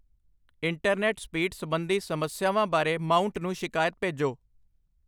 internet speed ਸੰਬੰਧੀ ਸਮੱਸਿਆਵਾਂ ਬਾਰੇ ਮਾਊਂਟ ਨੂੰ ਸ਼ਿਕਾਇਤ ਭੇਜੋ